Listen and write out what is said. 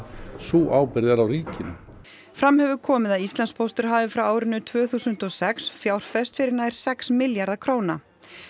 sú ábyrgð er á ríkinu fram hefur komið að Íslandspóstur hafi frá árinu tvö þúsund og sex fjárfest fyrir nær sex milljarða króna